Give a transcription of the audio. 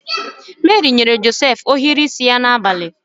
Meri nyere Josef ohiri isi ya n’abalị.